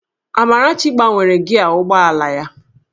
Amarachi gbanwere gịaa ụgbọ ala ya